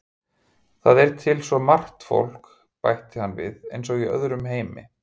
Það er svo margt fólk til, bætir hann við, eins og í öðrum heimi.